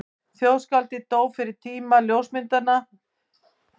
Þjóðskáldið dó fyrir tíma ljósmyndavéla en margur hefði gefið mikið fyrir ljósmynd af því.